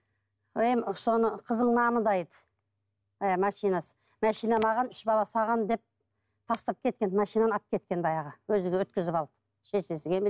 машинасы машина маған үш бала саған деп тастап кеткен машинаны алып кеткен баяғы өзі келіп өткізіп алды шешесі